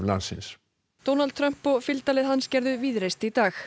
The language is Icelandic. landsins Donald Trump og fylgdarlið hans gerðu víðreist í dag